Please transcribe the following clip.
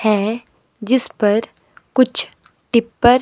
है जिस पर कुछ टिप्पर --